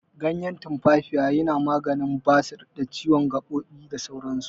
Ganyen tumfafiya yana maganin basir, ciwon gaɓoɓi, da sauran su.